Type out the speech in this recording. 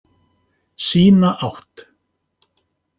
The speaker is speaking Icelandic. Sína átt.